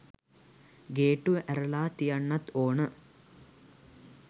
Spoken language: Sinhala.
ගේට්ටුව ඇරල තියන්නත් ඕන